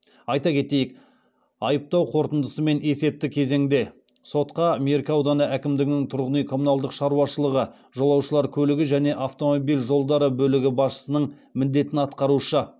айта кетейік айыптау қорытындысымен есепті кезеңде сотқа меркі ауданы әкімдігінің тұрғын үй коммуналдық шаруашылығы жолаушылар көлігі және автомобиль жолдары бөлімі басшысының міндетін уақытша атқарушы